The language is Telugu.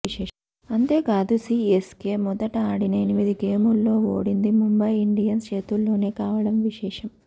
అంతేకాదు సీఎస్కే మొదట ఆడిన ఎనిమిది గేముల్లో ఓడింది ముంబై ఇండియన్స్ చేతిలోనే కావడం విశేషం